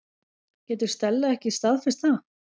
Getur Stella ekki staðfest það?